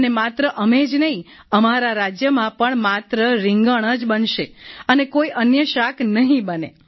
અને માત્ર અમે જ નહીં અમારા રાજ્યમાં પણ માત્ર રિંગણ જ બનશે અને કોઈ અન્ય શાક નહીં બને